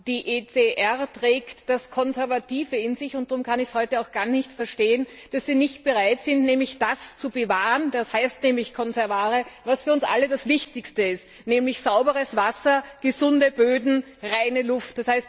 Die ECR trägt das Konservative in sich, und drum kann ich es heute auch gar nicht verstehen, dass sie nicht bereit sind, das zu bewahren das heißt nämlich conservare was für uns alle das Wichtigste ist, nämlich sauberes Wasser, gesunde Böden, reine Luft.